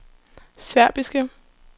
serbiske